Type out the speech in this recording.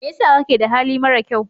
Me yasa kake da hali marakyau.